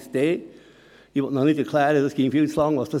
sich für die Bautätigkeit eignen würde.